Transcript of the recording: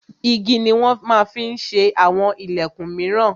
Igi ni wọn ma ń fi ṣe àwọn ìlẹ̀kun míràn.